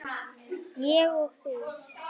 Ég og þú.